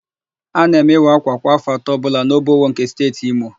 A na-eme ịwa ákwà kwa áfọ̀ atọ ọbụla n'Obowo nke Steeti Imo.